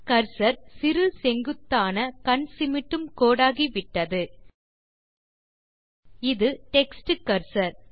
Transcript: cursor சிறு செங்குத்தான கண் சிமிட்டும் கோடாகிவிட்டது இது டெக்ஸ்ட் கர்சர்